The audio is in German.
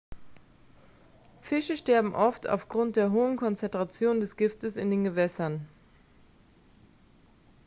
fische sterben oft aufgrund der hohen konzentrationen des giftes in den gewässern